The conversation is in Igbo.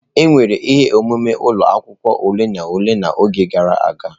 Enwere ihe omume ụlọ akwụkwọ ole na ole n'oge gara aga.